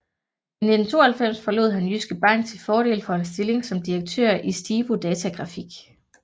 I 1992 forlod han Jyske Bank til fordel for en stilling som direktør i Stibo Datagrafik